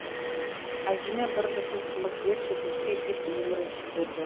әжеме бір жұтым қымыз берші көке деп еңіреп жіберді